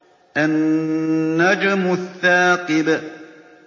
النَّجْمُ الثَّاقِبُ